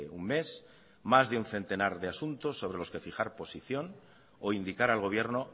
un mes más de un centenar de asuntos sobre los que fijar posición o indicar al gobierno